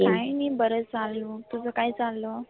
काही नाही बर चालू. तुझ काय चाललं?